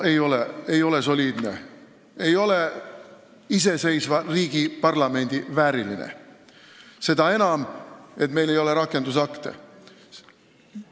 See ei ole soliidne, see ei ole iseseisva riigi parlamendi vääriline – seda enam, et meil ei ole rakendusakte.